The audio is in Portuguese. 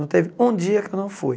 Não teve um dia que eu não fui.